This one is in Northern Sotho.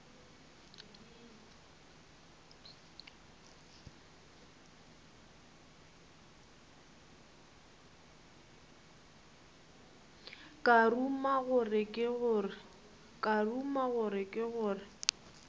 ka ruma gore ke gore